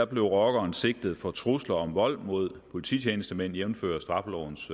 blev rockeren sigtet for trusler om vold mod polititjenestemænd jævnfør straffelovens